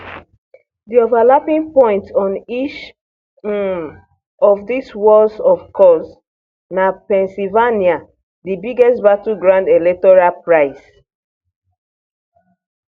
di overlapping point on each um of dis walls of course na pennsylvania di biggest battleground electoral prize